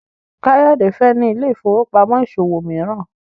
Kayode fè ní Ile-ifowopamọ ìṣòwò míràn.